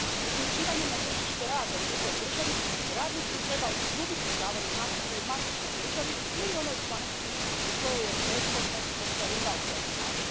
Uključivanjem na tržište rada u drugoj državi, radnik bi trebao izgubiti pravo na naknadu u matičnoj državi ili onoj članici u kojoj je prethodno ostvarivao to pravo.